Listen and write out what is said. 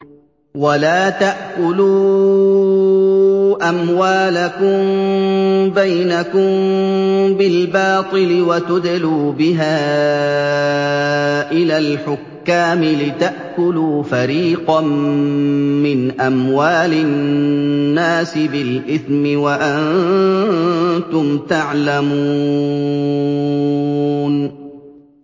وَلَا تَأْكُلُوا أَمْوَالَكُم بَيْنَكُم بِالْبَاطِلِ وَتُدْلُوا بِهَا إِلَى الْحُكَّامِ لِتَأْكُلُوا فَرِيقًا مِّنْ أَمْوَالِ النَّاسِ بِالْإِثْمِ وَأَنتُمْ تَعْلَمُونَ